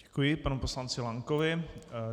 Děkuji panu poslanci Lankovi.